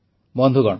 ବନ୍ଧୁଗଣ